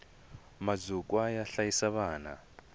mazukwa yo hlayisa vana